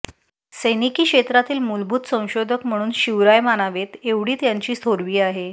सैनिकी क्षेत्रातील मूलभूत संशोधक म्हणून शिवराय मानावेत एवढी त्यांची थोरवी आहे